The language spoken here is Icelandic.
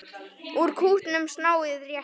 Úr kútnum snáðinn réttir.